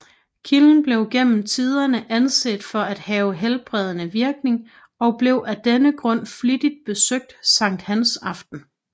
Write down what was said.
Kilden blev gennem tiderne anset for at have helbredende virkning og blev af denne grund flittigt besøgt Sankt Hans aften